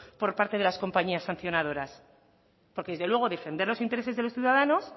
por parte de las compañías sancionadores porque desde luego defender los intereses de los ciudadanos